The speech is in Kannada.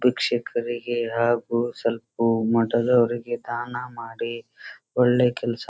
ಭಿಕ್ಷುಕರಿಗೆ ಹಾಗು ಸ್ವಲ್ಪ ಮೊದಲು ಅವ್ರಿಗೆ ದಾನ ಮಾಡಿ ಒಳ್ಳೆ ಕೆಲಸ --